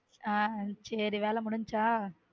ஹம் சேரி வேலை முடிஞ்சிருச்சா.